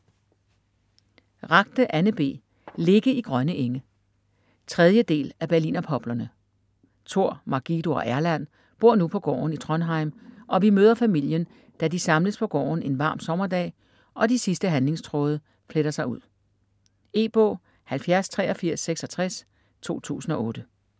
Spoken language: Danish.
Ragde, Anne B.: Ligge i grønne enge 3. del af Berlinerpoplerne. Tor, Margido og Erland bor nu på gården i Trondheim, og vi møder familien, da de samles på gården en varm sommerdag, og de sidste handlingstråde fletter sig ud. E-bog 708366 2008.